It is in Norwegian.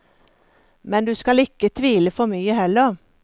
Men du skal ikke tvile for mye heller.